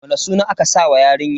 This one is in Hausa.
Wani suna aka sa wa yarinyar?